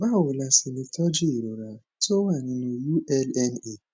báwo la ṣe lè tọjú ìrora tó wà nínú ulna